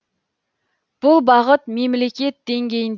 бұл бағыт мемлекет деңгейін